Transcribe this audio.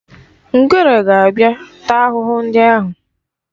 Ngwere ga-abịa taa ahụhụ ndị ahụ.